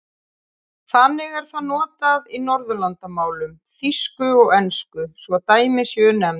Þannig er það notað í Norðurlandamálum, þýsku og ensku svo dæmi séu nefnd.